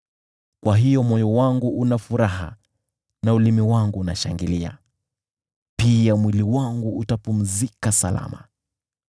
Kwa hiyo moyo wangu unafurahia, na ulimi wangu unashangilia; mwili wangu nao utapumzika salama,